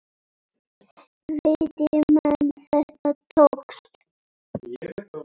Viti menn, þetta tókst.